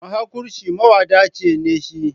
Mahaƙurci mawadaci ne shi.